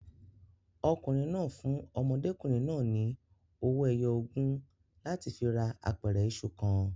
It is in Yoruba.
Ọkùnrin náà fún ọmọdékùnrin náà ni owó ẹyọ ogún láti fi ra apẹ̀rẹ̀ iṣu kan.